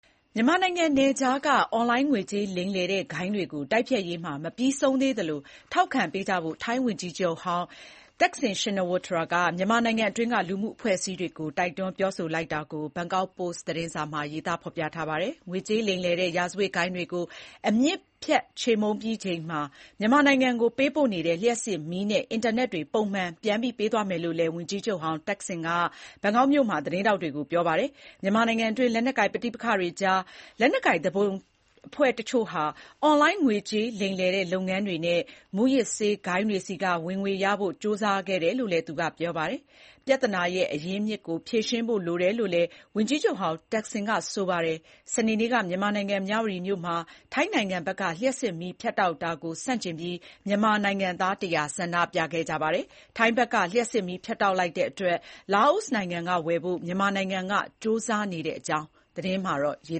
မြန်မာနိုင်ငံနယ်ခြားက အွန်လိုင်းငွေကြေးလိမ်လည်တဲ့ဂိုဏ်းတွေကို တိုက်ဖျက်ရေးမှာ မပြီးဆုံးသေးသလို ထောက်ခံပေးကြဖို့ ထိုင်းဝန်ကြီးချုပ်ဟောင်း Thaksin Shinawatra က မြန်မာနိုင်ငံအတွင်းက လူ့မှုအဖွဲ့အစည်းတွေကို တိုက်တွန်းပြောဆိုလိုက်တာကို ဘန်ကောက်ပို့စ် သတင်းစာမှာ ရေးပါတယ်။ ငွေကြေးလိမ်လည်တဲ့ ရာဇဝတ်ဂိုဏ်းတွေကို အမြစ်ဖြတ်ချေမှုန်းပြီးချိန်မှာ မြန်မာနိုင်ငံကိုပေးပို့နေတဲ့ လျှပ်စစ်မီးနဲ့ အင်တာနက်တွေ ပုံမှန်ပြန်လည်ပေးသွားမယ်လို့လည်းလည်း ဝန်ကြီးချုပ်ဟောင်း Thaksin က ဘန်ကောက်မြို့မှာ သတင်းထောက်တွေကို ပြောပါတယ်။ မြန်မာနိုင်ငံအတွင်း လက်နက်ကိုင် ပဋိပက္ခတွေကြား လက်နက်ကိုင်သူပုန်အဖွဲ့တချို့ဟာ အွန်လိုင်းငွေကြေးလိမ်လည်လုပ်ငန်းတွေနဲ့ မူးယစ်ဆေးဂိုဏ်းတွေဆီက ဝင်ငွေရဖို့ ကြိုးစားခဲ့တယ်လို့လည်း ပြောပါတယ်။ ပြဿနာရဲ့ အရင်းအမြစ်ကို ဖြေရှင်းဖို့လိုတယ်လို့လည်း ဝန်ကြီးချုပ်ဟောင်း Thaksin က ပြောပါတယ်။ စနေနေ့က မြန်မာနိုင်ငံ မြဝတီမြို့မှာ ထိုင်းနိုင်ငံဘက်က လျှပ်စစ်မီးဖြတ်တောက်တာကို ဆန့်ကျင်ပြီး မြန်မာနိုင်ငံသား ၁၀၀ ဆန္ဒပြခဲ့ကြပါတယ်။ ထိုင်းဘက်က လျှပ်စစ်မီးဖြတ်တောက်တဲ့အတွက် လာအိုနိုင်ငံကဝယ်ဖို့ မြန်မာနိုင်ငံက ကြိုးစားနေတဲ့အကြောင်းလည်း သတင်းမှာ ရေ